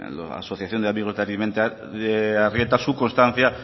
asociación de amigos de arizmendiarrieta su constancia